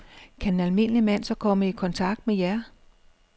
Kan en almindelig mand så komme i kontakt med jer?